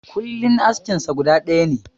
Kullin askin sa guda ɗaya ne.